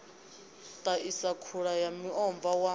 ḽaisa khula ya muomva wa